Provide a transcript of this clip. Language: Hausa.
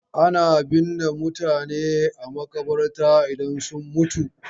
Ana binne mutane a maƙabarta idan sun mutu.